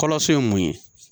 Kɔrɔso ye mun ye